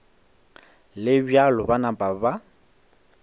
le bjalo ba napa ba